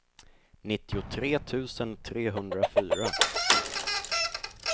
nittiotre tusen trehundrafyra